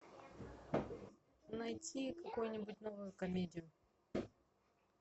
найти какую нибудь новую комедию